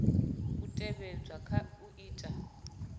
u tevhedzwa kha u ita